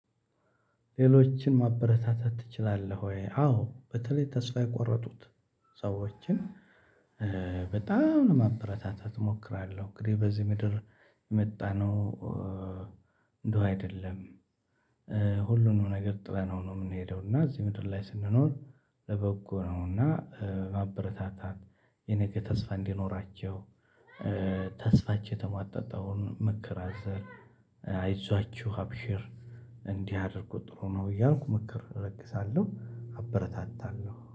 ሌሎችን ማበረታታት ትችላለህ ወይ? አዎ በተለይ ተስፋ የቆረጡት ሰዎችን በጣም ማበረታታት እሞክራለሁ። እንግዲህ በዚህ ምድር የመጣነው እንደው አይደለም ሁሉንም ነገር ጥለነው ነው የምንሄደው። እና እዚህ ምድር ላይ ስንኖር ለበጎ ነውና ማበረታታት። የነገ ተስፋ እንዲኖራቸው ተስፋቸው የተማጠጠውን ምክር አዘር አይዟችሁ ሀብሼር እንዲህ አድርጉ ጥሩ ነው። እያልኩ መከር እረግሳለሁ አበረታታለሁ